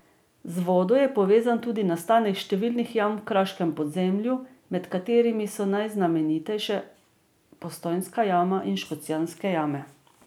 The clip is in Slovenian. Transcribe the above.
Z vodo je povezan tudi nastanek številnih jam v kraškem podzemlju, med katerimi so najznamenitejše Postojnska jama in Škocjanske jame.